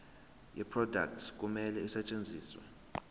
yeproduct kumele isetshenziswe